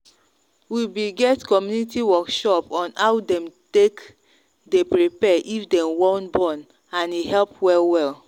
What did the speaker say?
we be get community workshop on how them take day prepare if them wan bornand e help well well.